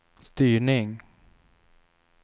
styrning